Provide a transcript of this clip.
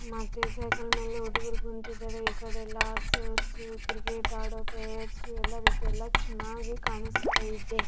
ಆಟವನ್ನು ಅಡ್ತ ಇದ್ದಾರೆ ಮರ್ಗಳು ಇದ್ದಾವೆ.